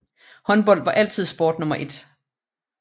Håndbold var altid sport nummer 1